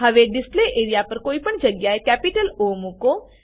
હવે display area પર કોઈ પણ જગ્યાએ કેપિટલ ઓ મુકો